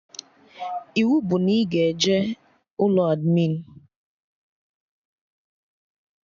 Iwu bụ na ị ga-eje ụlọ admịn